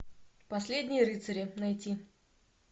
последние рыцари найти